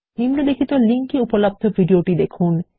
নিম্নলিখিত লিঙ্ক এ উপলব্ধ ভিডিওটি দেখুন